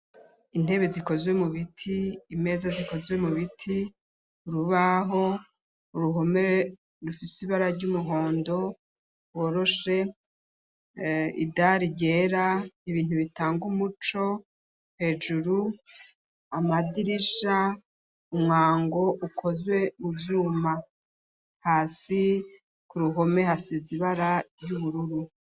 Intebe zikozwe mu biti imeza zikozwe mu biti urubaho uruhomere rufiseibara ry'umuhondo woroshe idari ryera ibintu bitanga umuco hejuru amadirisha umwango ukozwe ivyuma hasi ku ruhome hasi zibara ry'ubururu.